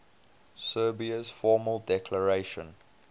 serbia's formal declaration